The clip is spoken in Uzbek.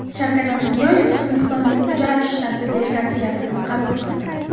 Shavkat Mirziyoyev Hindistonning Gujarat shtati delegatsiyasini qabul qildi.